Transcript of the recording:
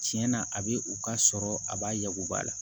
Tiɲɛ na a bɛ u ka sɔrɔ a b'a yagu ba la